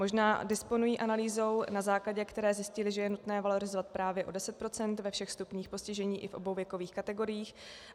Možná disponují analýzou, na základě které zjistili, že je nutné valorizovat právě o 10 % ve všech stupních postižení i v obou věkových kategoriích.